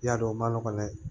I y'a dɔn o ma nɔgɔ dɛ